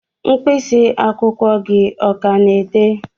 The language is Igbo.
mkpịsị akwụkwọ gị ọ ka na-ede?